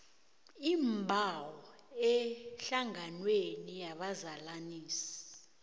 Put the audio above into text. iimbawo ehlanganweni yabazalanisi